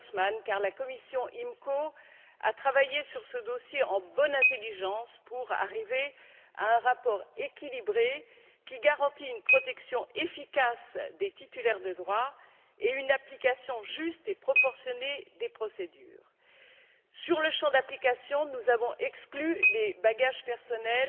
Creutzmann, car la commission IMCO a travaillé sur ce dossier en bonne intelligence pour arriver à un rapport équilibré qui garantit une protection efficace des détenteurs de droits et une application juste et proportionnée des procédures. En ce qui concerne le champ d'application, nous avons exclu les bagages personnels